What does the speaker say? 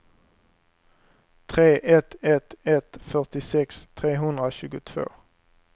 tre ett ett ett fyrtiosex trehundratjugotvå